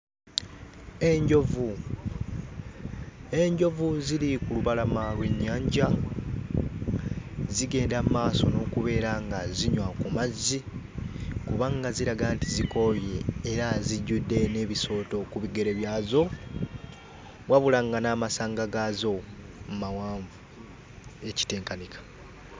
Enjovu, enjovu ziri ku lubalama lw'ennyanja, zigenda mu maaso n'okubeera nga zinywa ku mazzi kubanga ziraga nti zikooye era zijjudde n'ebisooto ku bigere byazo wabula nga n'amasanga gaazo mawanvu ekitenkanika.